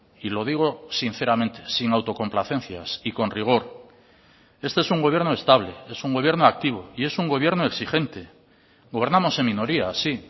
y lo digo sinceramente sin autocomplacencias y con rigor este es un gobierno estable es un gobierno activo y es un gobierno exigente gobernamos en minoría sí